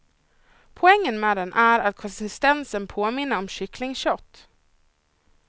Poängen med den är att konsistensen påminner om kycklingkött.